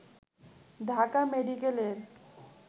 ঢাকা মেডিকেলের